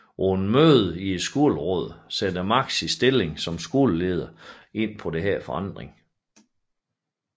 På et møde i Skolerådet sætter Max sin stilling som skoleleder ind på denne forandring